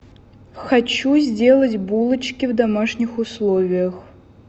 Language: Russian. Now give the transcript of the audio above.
хочу сделать булочки в домашних условиях